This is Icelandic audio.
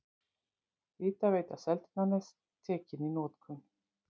Hitaveita Seltjarnarness tekin í notkun.